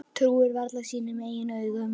Trúir varla sínum eigin augum.